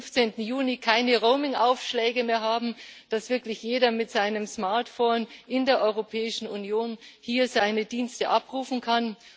15. Juni keine Roamingaufschläge mehr haben, dass wirklich jeder mit seinem Smartphone in der Europäischen Union seine Dienste abrufen kann.